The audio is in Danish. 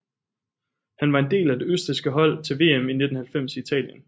Han var en del af det østrigske hold til VM i 1990 i Italien